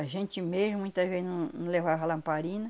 A gente mesmo muitas vezes não não levava a lamparina.